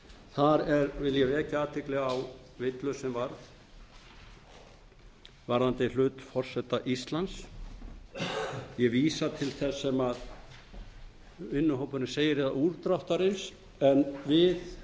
eitt vil ég vekja athygli á villu sem varð varðandi hlut forseta íslands ég vísa til þess sem vinnuhópurinn segir eða útdráttarins en við